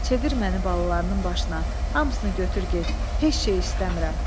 Çevir məni balalarının başına, hamısını götür get, heç nə istəmirəm.